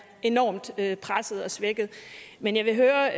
enormt presset og svækket men jeg vil høre